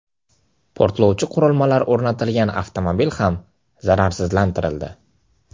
Portlovchi qurilmalar o‘rnatilgan avtomobil ham zararsizlantirildi.